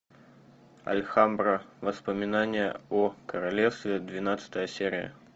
альхамбра воспоминания о королевстве двенадцатая серия